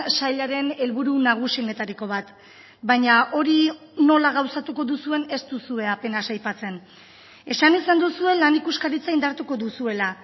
sailaren helburu nagusienetariko bat baina hori nola gauzatuko duzuen ez duzue apenas aipatzen esan izan duzue lan ikuskaritza indartuko duzuela